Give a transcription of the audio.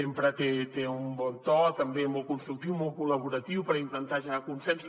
sempre té un bon to també molt constructiu molt col·laboratiu per intentar generar consensos